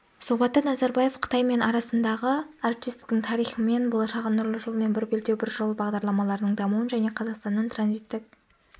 сұхбатта назарбаев қытай мен арасындағы әріптестіктің тарихы мен болашағын нұрлы жол мен бір белдеу бір жол бағдарламаларының дамуын және қазақстанның транзиттік